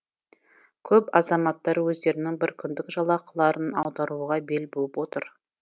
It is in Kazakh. көп азаматтар өздерінің біркүндік жалақыларын аударуға бел буып отыр